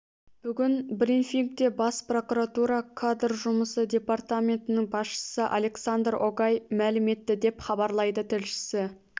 бүгін бринфингте бас прокуратура кадр жұмысы департаментінің басшысы александр огай мәлім етті деп хабарлайды тілшісі